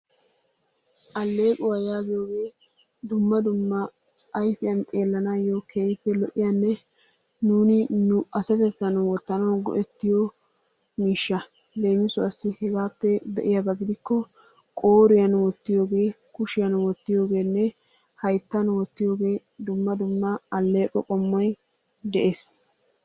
Alleequwa yaagiyoogee dumma dumma ayfiyan xeellanaayyo keehippe lo"iyaanne nuuni nu asatettan wottanawu go"ettiyo miishsha. Leemisuwaassi hegaappe be"iyaaba gidikko qooriyan wottiyogee, kushiyan wottiyoogeenne hayttan wottiyoogee dumma dumma alleeqo qommoy de'ees.